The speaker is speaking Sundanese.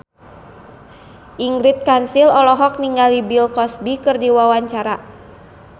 Ingrid Kansil olohok ningali Bill Cosby keur diwawancara